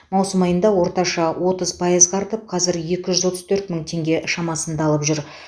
маусым айында орташа отыз пайзға артып қазір екі жүз отыз төрт мың теңге шамасында алып жүр